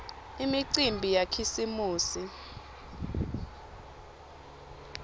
imicimbi yakhisimusi